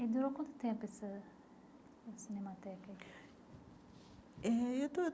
E durou quanto tempo essa cinemateca? Eh